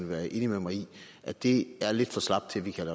være enig med mig i at det er lidt for slapt til at vi kan